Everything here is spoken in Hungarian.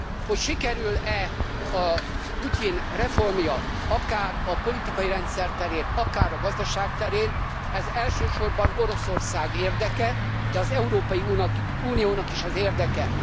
Hogy sikerül e a Putyin reformja akár a politikai rendszer terén, akár a gazdaság terén, ez elsősorban Oroszország érdeke, de az Európai Uniónak is az érdeke.